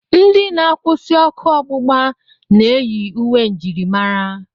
Ndị na-akwụsị ọkụ ọgbụgba na-eyi uwe njirimara.